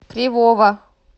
кривова